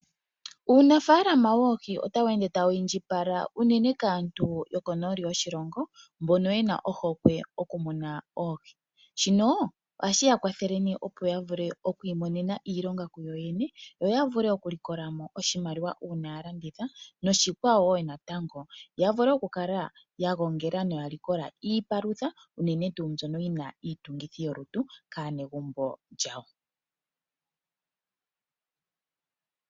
Uunafaalama woohi otawu ende tawu indjipala unene kaantu yokonooli yoshilongo mbono ye na ohokwe yokumuna oohi. Shino ohashi ya kwathele, opo ya vule okuimonena iilonga kuyoyene, yo ya vule okulikola mo oshimaliwa uuna ya landitha noshikwawo wo natango ya vule okukala ya gongela noya likola iipalutha unene tuu mbyono yi na iitungithilutu kaanegumbo lyawo.